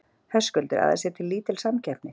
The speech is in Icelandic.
Höskuldur: Að það sé lítil samkeppni?